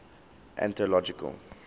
anthological